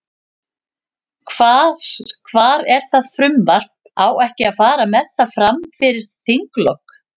Hvar er það frumvarp, á ekki að fara með það, fram fyrir þinglok?